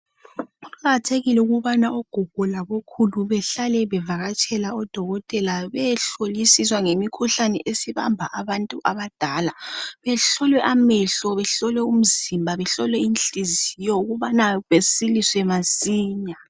Kuqakathekile ukubana ogogo labo khulu behlale bevakatshela odokotela beyehlolisiswa ngemikhuhlane esibamba abantu abadala. Behlolwe amehlo, behlolwe umzimba, behlolwe inhliziyo ukubana besiliswe masinya.